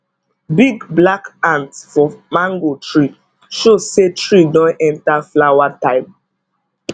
big black ant for mango tree show say tree don enter flower time